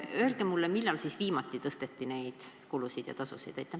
Öelge mulle, millal viimati tõsteti neid tasusid, neid lõive.